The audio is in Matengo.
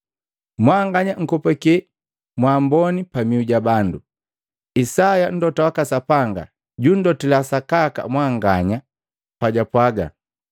Mwanganya nkopake mwamboni pamiu jabandu! Isaya Mlota waka Sapanga junndotila sakaka mwanganya pajwapwaga,